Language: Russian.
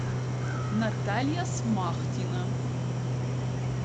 наталья смахтина